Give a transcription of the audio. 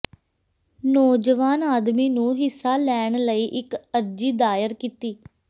ਨੌਜਵਾਨ ਆਦਮੀ ਨੂੰ ਹਿੱਸਾ ਲੈਣ ਲਈ ਇੱਕ ਅਰਜ਼ੀ ਦਾਇਰ ਕੀਤੀ